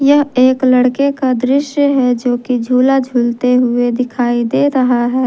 यह एक लड़के का दृश्य है जो की झूला झूलते हुए दिखाई दे रहा है।